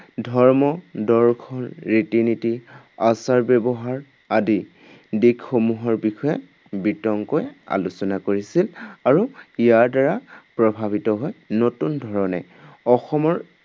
ধৰ্ম, দৰ্শন, ৰীতি নীতি, আচাৰ ব্য়ৱহাৰ আদি দিশসমূহৰ বিষয়ে বিতংকৈ আলোচনা কৰিছিল আৰু ইয়াৰ দ্বাৰা প্ৰভাৱিত হৈ নতুন ধৰণে অসমৰ